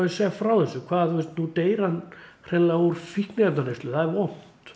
segja frá þessu hvað nú deyr hann hreinlega úr fíkniefnaneyslu það er vont